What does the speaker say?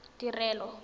tirelo